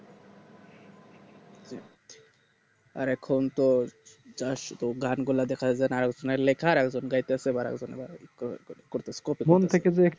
আর এখন তো যা শুধু গান গুলা দেখা যাই একজন আর লেখা আর একজন যাইতেছে কর কর করতেছে